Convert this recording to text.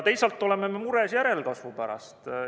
Teisalt oleme me mures järelkasvu pärast.